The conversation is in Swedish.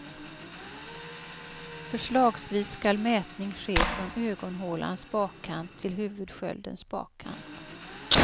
Förslagsvis skall mätning ske från ögonhålans bakkant till huvudsköldens bakkant.